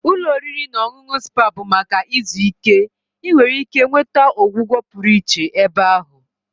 Ụlọ oriri na ọṅụṅụ spa bụ maka izu ike. Ị nwere ike nweta ọgwụgwọ pụrụ iche ebe ahụ